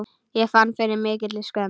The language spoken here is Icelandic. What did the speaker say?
Ég fann fyrir mikilli skömm.